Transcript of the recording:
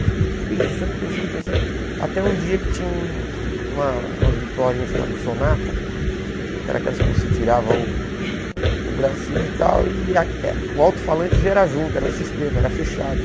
Eu fiquei pensando, pensando, pensando, até um dia que tinha uma umas vitrolinhas chamadas Sonata, que eram aquelas que você tirava o o bracinho e tal, e ah o alto-falante já era junto, era um sistema, era fechado.